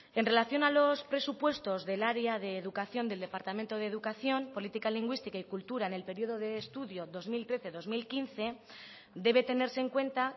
en relación a los presupuestos del área de educación del departamento de educación política lingüística y cultura en el periodo de estudio dos mil trece dos mil quince debe tenerse en cuenta